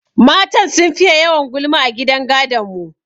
Matan sun fiye yawan gulma a gidan gadon mu.